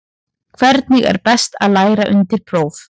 Hvernig er best að læra undir próf?